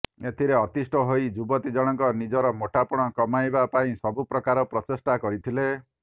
ଏଥିରେ ଅତିଷ୍ଠ ହୋଇ ଯୁବତୀ ଜଣଙ୍କ ନିଜର ମୋଟାପଣ କମାଇବା ପାଇଁ ସବୁ ପ୍ରକାର ପ୍ରଚେଷ୍ଟା କରିଥିଲେ